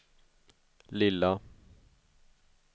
lilla